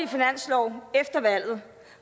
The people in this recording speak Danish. finanslov efter valget